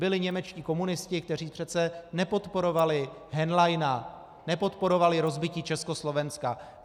Byli němečtí komunisti, kteří přece nepodporovali Henleina, nepodporovali rozbití Československa.